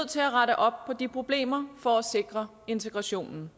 til at rette op på de problemer for at sikre integrationen